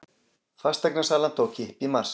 Fasteignasala tók kipp í mars